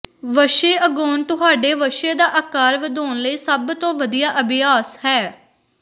ਵੱਛੇ ਉਗਾਉਣ ਤੁਹਾਡੇ ਵੱਛੇ ਦਾ ਆਕਾਰ ਵਧਾਉਣ ਲਈ ਸਭ ਤੋਂ ਵਧੀਆ ਅਭਿਆਸ ਹੈ